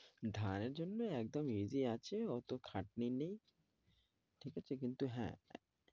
ধানের জন্যে একদম easy আছে ওতো খাটনি নেই। ঠিক আছে? কিন্তু হ্যাঁ